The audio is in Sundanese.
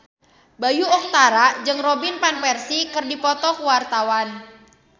Bayu Octara jeung Robin Van Persie keur dipoto ku wartawan